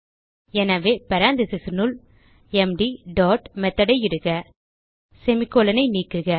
எனவே பேரெந்தீசஸ் னுள் empty dot methodஐ இடுக semi கோலோன் ஐ நீக்குக